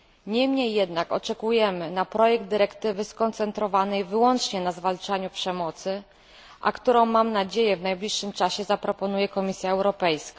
Niemniej jednak czekamy na projekt dyrektywy skoncentrowanej wyłącznie na zwalczaniu przemocy, a który to projekt, mam nadzieję, w najbliższym czasie zaproponuje Komisja Europejska.